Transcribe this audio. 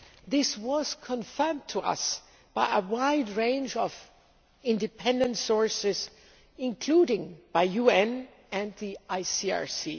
This was confirmed to us by a wide range of independent sources, including the UN and the ICRC.